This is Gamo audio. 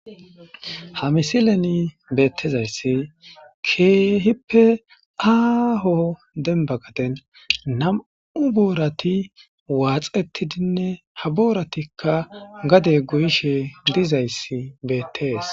Ha misileni beeththizayssi keehipe aaho dembba gaden nam7u boorathi waaxeththidinne ha boorathikka gadee goyishee dizayssi beeththees.